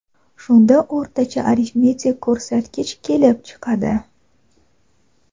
Shunda o‘rtacha arifmetik ko‘rsatgich kelib chiqadi.